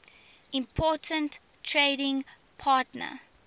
important trading partner